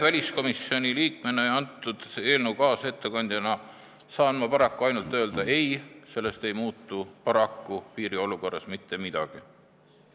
Väliskomisjoni liikmena ja eelnõu kaasettekandjana saan ma paraku öelda ainult ei, sellest ei muutu piiri olukorras mitte midagi.